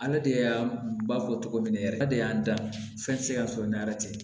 Ale de y'a ba fɔ cogo min na yɛrɛ ne de y'a dan fɛn tɛ se ka sɔrɔ ni ara cɛ